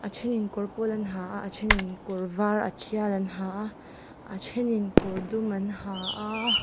a then in kawr pawl an ha a a then in kawr var a tial an ha a a then in kawr dum an ha a--